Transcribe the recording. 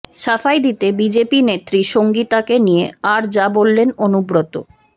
সাফাই দিতে বিজেপি নেত্রী সঙ্গীতাকে নিয়ে আর যা বললেন অনুব্রত